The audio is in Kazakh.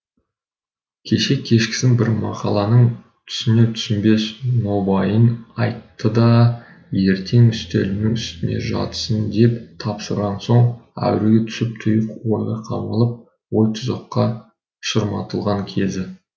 кеше кешкісін бір мақаланың түсінер түсінбес нобайын айтты да ертең үстелімнің үстінде жатсын деп тапсырған соң әуреге түсіп тұйық ойға қамалып ойтұзаққа шырматылған кезі